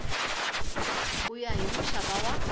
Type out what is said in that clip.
ku ya hi muxaka wa